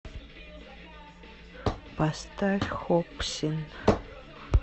поставь хопсин